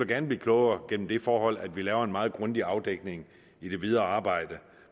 gerne blive klogere gennem det forhold at vi laver en meget grundig afdækning i det videre arbejde